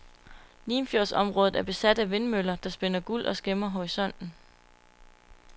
Limfjordsområdet er besat af vindmøller, der spinder guld og skæmmer horisonten.